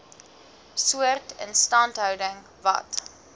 soort instandhouding wat